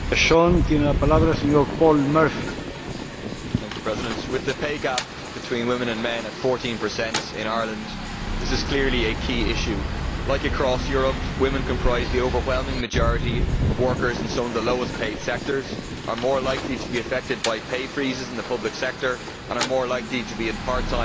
Mr President, with the pay gap between women and men at 14 in Ireland, this is clearly a key issue. As across Europe, women comprise the overwhelming majority of workers in some of the lowest paid sectors, are more likely to be affected by pay freezes in the public sector and are more likely to be in part time or precarious employment.